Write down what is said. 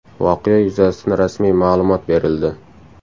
Voqea yuzasidan rasmiy ma’lumot berildi.